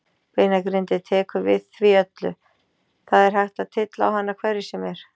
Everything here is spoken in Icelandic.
Beinagrindin tekur við því öllu, það er hægt að tylla á hana hverju sem er.